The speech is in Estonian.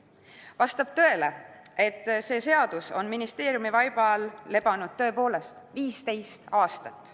Vastab tõele, et see seadus on ministeeriumi vaibal lebanud 15 aastat.